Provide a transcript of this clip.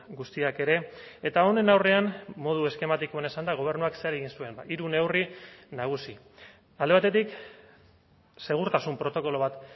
guztiak ere eta honen aurrean modu eskematikoan esanda gobernuak zer egin zuen hiru neurri nagusi alde batetik segurtasun protokolo bat